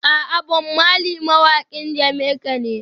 A'a, Bob Marley mawaƙin Jamaica ne.